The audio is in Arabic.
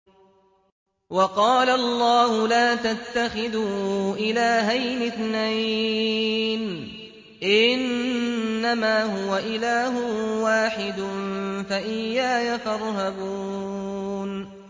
۞ وَقَالَ اللَّهُ لَا تَتَّخِذُوا إِلَٰهَيْنِ اثْنَيْنِ ۖ إِنَّمَا هُوَ إِلَٰهٌ وَاحِدٌ ۖ فَإِيَّايَ فَارْهَبُونِ